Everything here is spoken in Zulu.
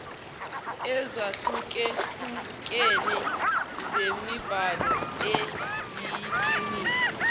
ezahlukehlukene zemibhalo eyiqiniso